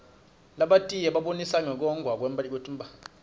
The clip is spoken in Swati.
labatiye babonisa ngekwotntwa kwetmphahla